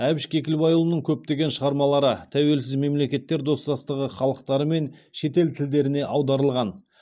әбіш кекілбайұлының көптеген шығармалары тәуелсіз мемлекеттер достастығы халықтары мен шетел тілдеріне аударылған